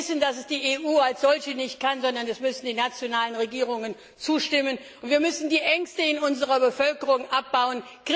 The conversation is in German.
Wir wissen, dass es die EU als solche nicht kann, sondern die nationalen Regierungen zustimmen müssen. Wir müssen die Ängste in unserer Bevölkerung abbauen.